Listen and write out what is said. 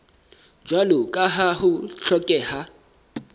jwalo ka ha ho hlokeha